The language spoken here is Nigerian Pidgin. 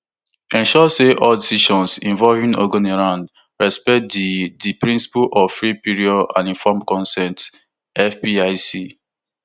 ensure say all decisions involving ogoniland respect di di principle of free prior and informed consent fpic